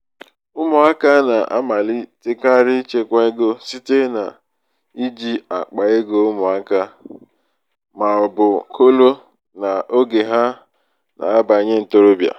ụmụaka na-amalitekarị ịchekwa ego site n’iji akpa ego ụmụaka ego ụmụaka ma ọ bụ kolo n’oge ha na-abanye ntorobịa.